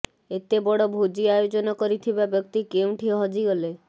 ଏତେ ବଡ଼ ଭୋଜି ଆୟୋଜନ କରିଥିବା ବ୍ୟକ୍ତି କେଉଁଠି ହଜିଗଲେ